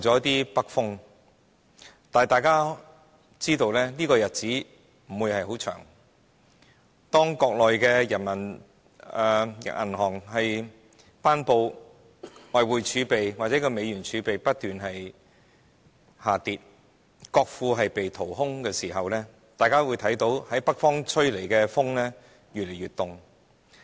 但是，大家也知道這樣的日子不會很長久，當中國人民銀行公布的外匯儲備或美元儲備不斷下跌，國庫被掏空時，北方吹來的風只會越來越冷。